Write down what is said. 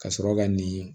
Ka sɔrɔ ka nin